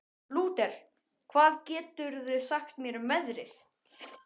Lúter, hvað geturðu sagt mér um veðrið?